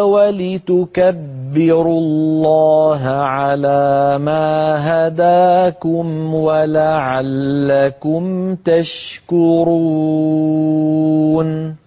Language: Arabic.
وَلِتُكَبِّرُوا اللَّهَ عَلَىٰ مَا هَدَاكُمْ وَلَعَلَّكُمْ تَشْكُرُونَ